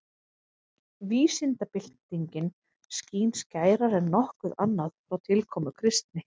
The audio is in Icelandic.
Vísindabyltingin skín skærar en nokkuð annað frá tilkomu kristni.